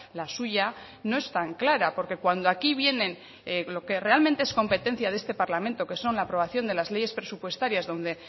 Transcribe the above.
la suya no es tan clara porque cuando aquí vienen lo que realmente es competencia de este parlamento que son la aprobación de las leyes presupuestarias donde